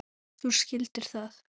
Þú skildir það.